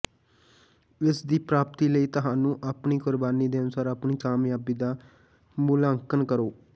ਇਸ ਦੀ ਪ੍ਰਾਪਤੀ ਲਈ ਤੁਹਾਨੂੰ ਆਪਣੀ ਕੁਰਬਾਨੀ ਦੇ ਅਨੁਸਾਰ ਆਪਣੀ ਕਾਮਯਾਬੀ ਦਾ ਮੁਲਾਂਕਣ ਕਰੋ